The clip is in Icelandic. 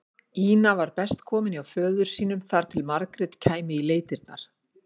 Ína var best komin hjá föður sínum þar til Margrét kæmi í leitirnar.